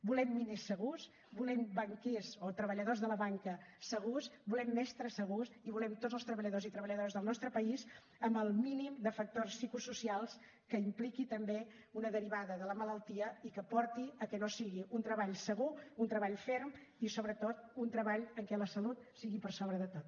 volem miners segurs volem banquers o treballadors de la banca segurs volem mestres segurs i volem tots els treballadors i treballadores del nostre país amb el mínim de factors psicosocials que impliqui també una derivada de la malaltia i que porti que no sigui un treball segur un treball ferm i sobretot un treball en què la salut sigui per sobre de tot